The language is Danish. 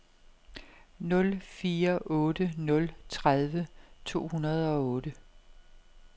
nul fire otte nul tredive to hundrede og otte